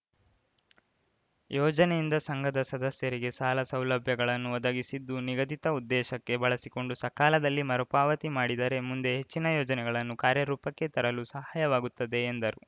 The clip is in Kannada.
ಯೋಜನೆಯಿಂದ ಸಂಘದ ಸದಸ್ಯರಿಗೆ ಸಾಲ ಸೌಲಭ್ಯಗಳನ್ನು ಒದಗಿಸಿದ್ದು ನಿಗದಿತ ಉದ್ದೇಶಕ್ಕೆ ಬಳಸಿಕೊಂಡು ಸಕಾಲದಲ್ಲಿ ಮರುಪಾವತಿ ಮಾಡಿದರೆ ಮುಂದೆ ಹೆಚ್ಚಿನ ಯೋಜನೆಗಳನ್ನು ಕಾರ್ಯರೂಪಕ್ಕೆ ತರಲು ಸಹಾಯವಾಗುತ್ತದೆ ಎಂದರು